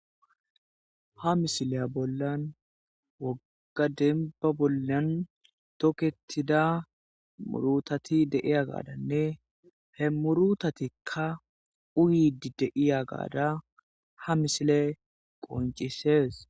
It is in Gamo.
ha misiley bollan woga denba bollan tokketida murutati de'iya gaadanne he murutatikka uyidi deiya gaada ha misile qoncisees